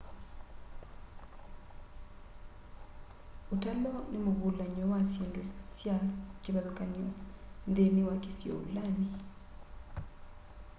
utalo ni muvulany'o wa syindu sya kivathukany'o nthini wa kisio vulani